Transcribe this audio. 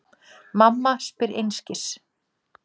Mamma spyr einskis.